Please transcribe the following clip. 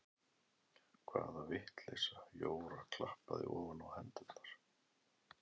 Hvaða vitleysa Jóra klappaði ofan á hendurnar.